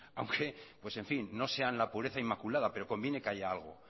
aunque pues en fin no sean la pureza inmaculada pero conviene que haya algo